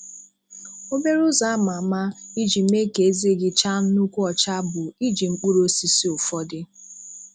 Obere ụzọ ama ama iji mee ka eze gị chaa nnukwu ọcha bụ iji mkpụrụ osisi ụfọdụ.